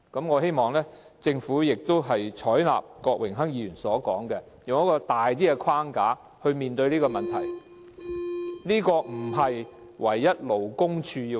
我希望政府採納郭榮鏗議員的意見，以較闊的框架處理這個問題，並不應該單單由勞工處處理。